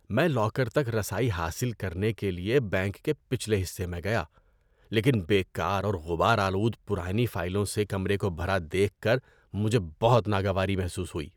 میں لاکر تک رسائی حاصل کرنے کے لیے بینک کے پچھلے حصے میں گیا، لیکن بیکار اور غبار آلود پرانی فائلوں سے کمرے کو بھرا دیکھ کر مجھے بہت ناگواری محسوس ہوئی۔